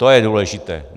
To je důležité.